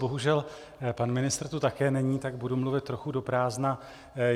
Bohužel pan ministr tu také není, tak budu mluvit trochu do prázdna.